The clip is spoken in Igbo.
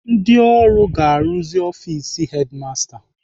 Ndị ọrụ ga-arụzi ọfis hedimasta